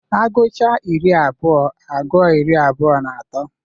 Aguchaa iri abụọ agụọ iri abụọ na otu.